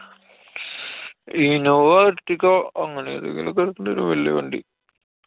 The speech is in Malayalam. innova, ertiga അങ്ങനെതെങ്കിലും ഒക്കെ എടുക്കണ്ടെരും. വല്യേ വണ്ടി.